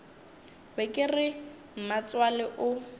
be ke re mmatswale o